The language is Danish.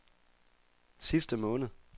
sidste måned